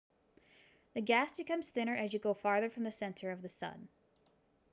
the gas becomes thinner as you go farther from the center of the sun